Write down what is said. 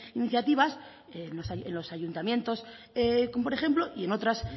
iniciativas en los ayuntamientos por ejemplo y en otras